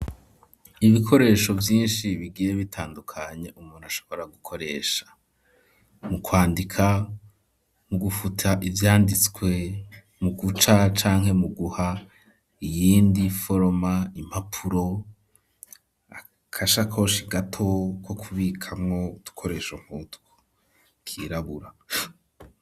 Ibikoresho vyinshi bigiye bitandukanye umuntu ashobora gukoresha mu kwandika mu gufuta ivyanditswe mu guca canke mu guha iyindi foroma impapuro akashakoshi gato ko kubikamwo udukoresho nkutwo kirabura.